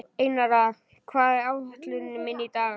Einara, hvað er á áætluninni minni í dag?